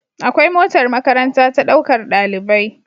Akwai motar makaranta ta ɗaukar ɗalibai